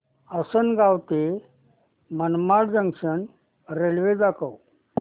आसंनगाव ते Manmad junction railway दाखव